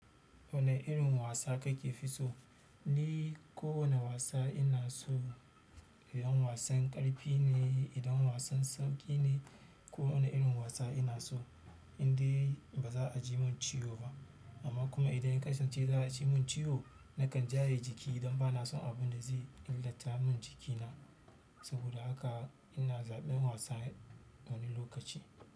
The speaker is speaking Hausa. Wani irin wasa kake fi so. Ni ko wane wasa ina so, idan wasan ƙarfi ne, idan wasan sauƙi ne ko wane irin wasa ina so, indai ba za a ji mun ciwo ba. Amma kuma idan ya kasance za a ji mun ciwo, nakan jaye jiki don ba na son abin da zai illata mun jikina. Saboda haka ina zaɓin wasa wani lokaci.